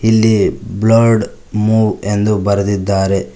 ಇಲ್ಲಿ blood move ಎಂದು ಬರೆದಿದ್ದಾರೆ.